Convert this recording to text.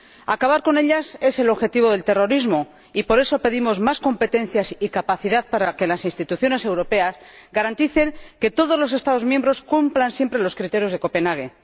Acabar con ellas es el objetivo del terrorismo y, por eso, pedimos más competencias y capacidad para que las instituciones europeas garanticen que todos los Estados miembros cumplan siempre los criterios de Copenhague.